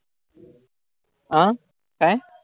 आं काय?